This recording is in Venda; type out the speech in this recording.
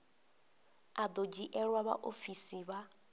a do dzhielwa vhaofisi vha